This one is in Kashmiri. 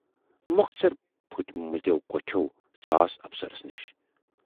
مۅخصر پھُٹۍمٕتٮ۪و کھۅٹھٮ۪و ژاس افسرس نِش۔